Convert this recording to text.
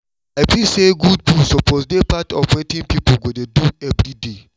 i feel say good food suppose dey part of wetn people go dey do every day